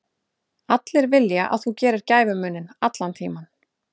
Allir vilja að þú gerir gæfumuninn, allan tímann.